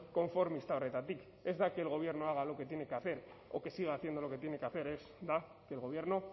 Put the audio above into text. konformista horretatik ez da que el gobierno haga lo que tiene que hacer o que siga haciendo lo que tiene que hacer ez da que el gobierno